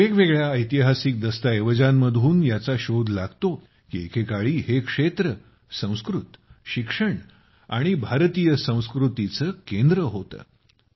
वेगवेगळ्या ऐतिहासिस दस्तऐवजांमधून याचा शोध लागतो की एके काळी हे क्षेत्र संस्कृत शिक्षण आणि भारतीय संस्कृतीचं केंद्र होतं